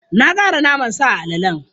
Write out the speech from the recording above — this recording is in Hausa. Na ƙara naman sa a alalen.